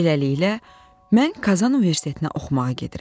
Beləliklə, mən Kazan Universitetinə oxumağa gedirəm.